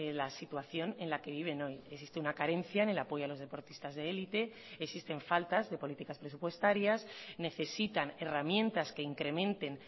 la situación en la que viven hoy existe una carencia en el apoyo a los deportistas de élite existen faltas de políticas presupuestarias necesitan herramientas que incrementen